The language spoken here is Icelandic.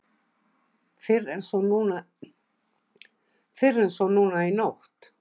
Fyrr en svo núna í nótt.